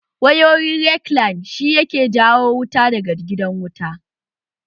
Wayoyin rekline shi ke jawo wuta daga gidan wuta